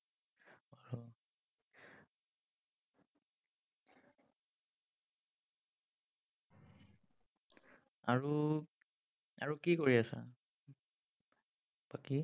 আৰু, আৰু কি কৰি আছা, বাকী?